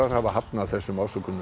hafa hafnað þessum ásökunum